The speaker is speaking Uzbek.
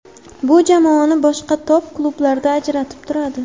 Bu jamoani boshqa top-klublardan ajratib turadi.